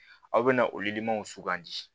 Aw bɛna sugandi